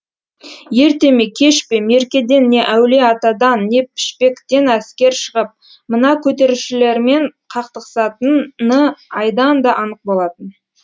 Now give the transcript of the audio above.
ерте ме кеш пе меркеден не әулие атадан не пішпектен әскер шығып мына көтерілісшілермен қақтығысатын ны айдан да анық болатын